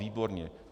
Výborně.